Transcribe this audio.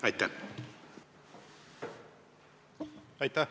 Aitäh!